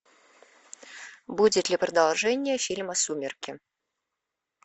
будет ли продолжение фильма сумерки